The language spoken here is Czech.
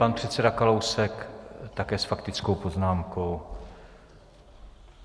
Pan předseda Kalousek také s faktickou poznámkou.